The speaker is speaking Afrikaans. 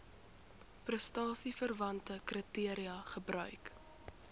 prestasieverwante kriteria gebruik